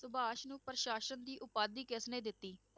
ਸੁਭਾਸ਼ ਨੂੰ ਪ੍ਰਸਾਸਕ ਦੀ ਉਪਾਧੀ ਕਿਸਨੇ ਦਿੱਤੀ?